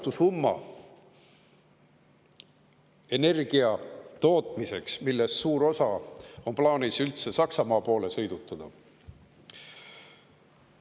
Üüratu summa energia tootmiseks, millest suur osa on plaanis üldse Saksamaa poole sõidutada.